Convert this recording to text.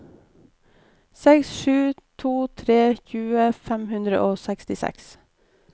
seks sju to tre tjue fem hundre og sekstiseks